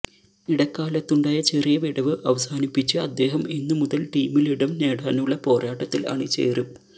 ഇടക്കാലത്തുണ്ടായ ചെറിയ വിടവ് അവസാനിപ്പിച്ച് അദ്ദേഹം ഇന്ന് മുതല് ടീമിലിടം നേടാനുള്ള പോരാട്ടത്തില് അണിചേരും